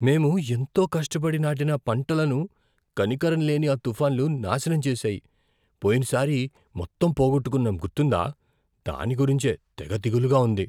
మేము ఎంతో కష్టపడి నాటిన పంటలను కనికరంలేని ఆ తుఫాన్లు నాశనం చేసాయి. పోయినసారి మొత్తం పోగొట్టుకున్నాం గుర్తుందా? దాని గురించే తెగ దిగులుగా ఉంది.